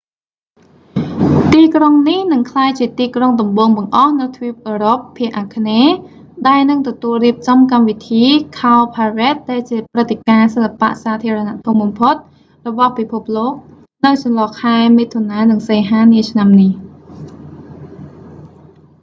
ទីក្រុងនេះនឹងក្លាយជាទីក្រុងដំបូងបង្អស់នៅទ្វីបអឺរ៉ុបភាគអាគ្នេយ៍ ដែលនឹងទទួលរៀបចំកម្មវិធី cowparade ដែលជាព្រឹត្តិការណ៍សិល្បៈសាធារណៈធំបំផុតរបស់ពិភពលោក នៅចន្លោះ ខែមិថុនា និងសីហា នាឆ្នាំនេះ